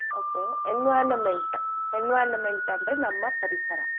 Okay environment environment ಅಂದ್ರೆ ನಮ್ಮ ಪರಿಸರ.